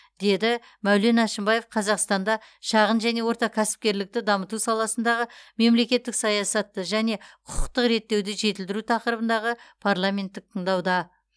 деді мәулен әшімбаев қазақстанда шағын және орта кәсіпкерлікті дамыту саласындағы мемлекеттік саясатты және құқықтық реттеуді жетілдіру тақырыбындағы парламенттік тыңдауда